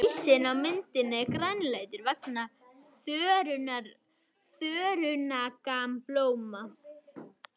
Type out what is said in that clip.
Ísinn á myndinni er grænleitur vegna þörungablóma.